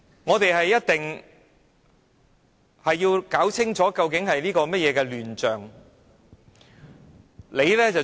我們一定要弄清楚這究竟是甚麼亂象。